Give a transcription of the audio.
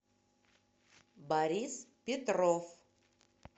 борис петров